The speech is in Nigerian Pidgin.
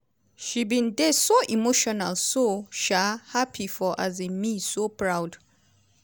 "she bin dey so emotional so um happy for um me so proud.